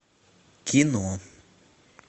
кино